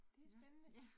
Det spændende